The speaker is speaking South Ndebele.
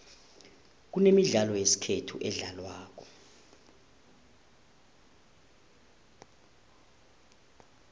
kunemidlalo yesikhethu edlalwako